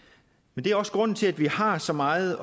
men det er også grunden til at vi har så meget